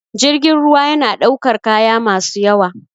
Jirgin ruwa yana ɗaukar kaya masu yawa